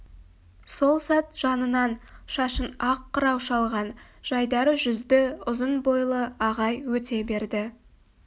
сол сәт жанынан шашын ақ қырау шалған жайдары жүзді ұзын бойлы ағай өте берді